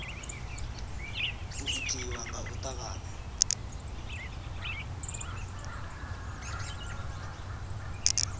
u itiwa nga u tavhanya